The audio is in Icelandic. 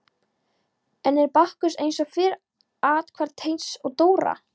Enn er Bakkus eins og fyrr athvarf Teits og Dóra.